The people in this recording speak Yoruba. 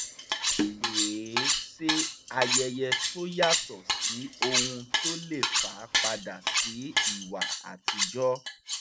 wọ́n pè é sí ayẹyẹ tó yàtọ̀ sí ohun tó le fa padà sí ìwà àtijọ́